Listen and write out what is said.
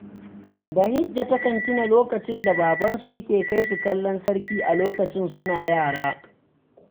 Bahijja takan tuna lokacin da babansu yake kai su kallon sarki a lokacin suna yara.